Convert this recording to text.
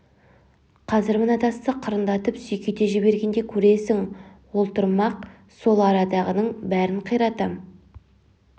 қазір мына тасты қырындатып сүйкете жібергенде көресің ол тұрмақ сол арадағының бәрін қиратам